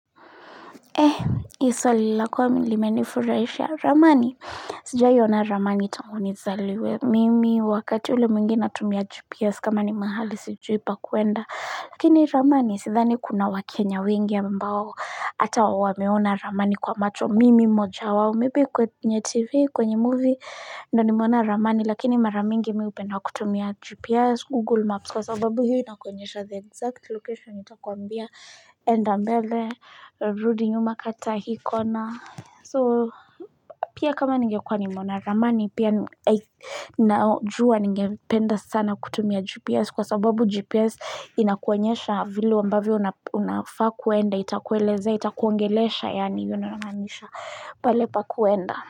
Eeh, hii swali lako limenifurahisha ramani sijawahi ona ramani tangu nizaliwe. Mimi wakati ule mwingi natumia Gps kama ni mahali sijui pakuenda lakini ramani sidhani kuna wakenya wengi ambao ata wameona ramani kwa macho mimi mmoja wao maybe kwenye Tv kwenye movie ndio nimeona ramani lakini mara mingi mimi hupenda kutumia gps, google maps kwa sababu hio inakonyesha the exact location itakuambia enda mbele, rudi nyuma kata hii kona. So, pia kama ningekua nimeona ramani pia Najua ningependa sana kutumia GPS Kwa sababu GPS inakuwenyesha vili ambavyo unafaa kuenda Itakueleza, itakuongeleza, yani hivyo ndio namaanisha pale pakuenda.